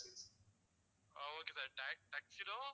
Okay sir tuxedo